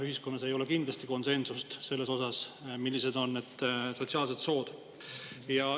Ühiskonnas ei ole kindlasti konsensust selles osas, millised on need sotsiaalsed sood.